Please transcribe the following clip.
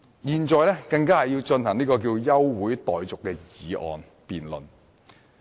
現在，本會更要進行休會辯論。